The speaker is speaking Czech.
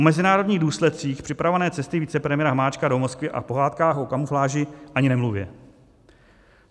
O mezinárodních důsledcích připravované cesty vicepremiéra Hamáčka do Moskvy a pohádkách o kamufláži ani nemluvě.